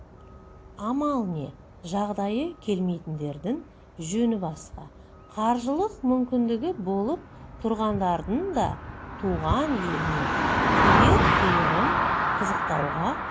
амал не жағдайы келмейтіндердің жөні басқа қаржылық мүмкіндігі болып тұрғандардың да туған елінің қиыр-қиырын қызықтауға